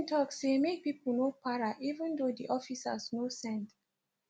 im tok say make people no para even though di officers no send